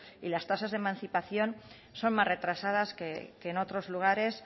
y las tasas de emancipación son más retrasadas que en otros lugares